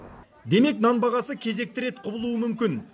демек нан бағасы кезекті рет құбылуы мүмкін